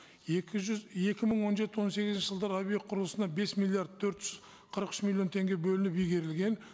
екі мың он жеті он сегізінші жылдары объект құрылысына бес миллиард төрт жүз қырық үш миллион теңге бөлініп игерілген